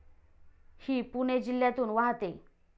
हि पुणे जिल्ह्यातून वाहते.